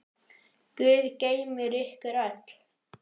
Guð geymi ykkur öll.